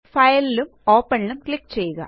file ഉം open ഉം click ചെയ്യുക